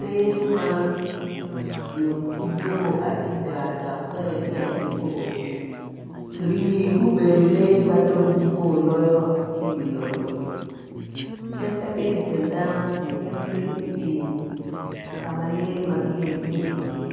lee man ngutgi bo adida dok tyengi bo rii gubedo lee ma pud dong bo loyo ki i wi lobo-ni gin pe bedo i kin dano gin gibedo itim ka ma lee magar bedo iye